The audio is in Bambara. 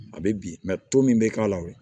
A bɛ bin to min bɛ k'a la o